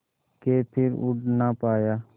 के फिर उड़ ना पाया